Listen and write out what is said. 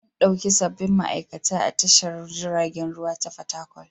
An ɗauki sabbin ma'aikata a tashar jiragen ruwa ta Fatakwal.